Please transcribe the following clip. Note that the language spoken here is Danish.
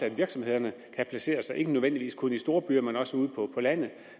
at virksomhederne kan placere sig ikke nødvendigvis kun i storbyer men også ude på landet